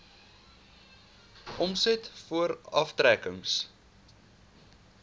omset voor aftrekkings